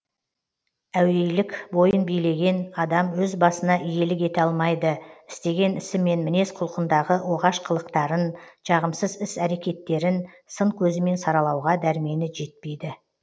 әуейілік бойын билеген адам өз басына иелік ете алмайды істеген ісі мен мінез құлқындағы оғаш қылықтарын жағымсыз іс әрекеттерін сын көзімен саралауға дәрмені жетпейді